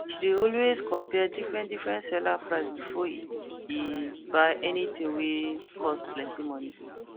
she dey always compare differentdifferent seller price before e buy any thing wey cost plenty money